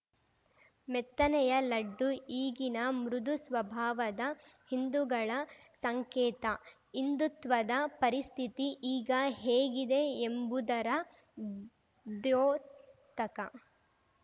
ಮೆತ್ತನೆಯ ಲಡ್ಡು ಈಗಿನ ಮೃದು ಸ್ವಭಾವದ ಹಿಂದುಗಳ ಸಂಕೇತ ಹಿಂದುತ್ವದ ಪರಿಸ್ಥಿತಿ ಈಗ ಹೇಗಿದೆ ಎಂಬುದರ ದ್ಯೋತಕ